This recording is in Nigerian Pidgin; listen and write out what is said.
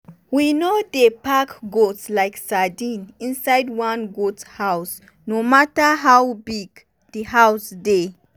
we no dey pack goat like sardine inside one goat house no matter how big di house dey.